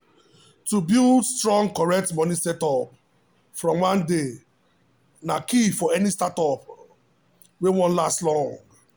to build strong correct money setup from one day na key for any startup um wey wan last long.